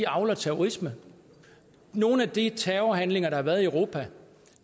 avler terrorisme nogle af de terrorhandlinger der har været i europa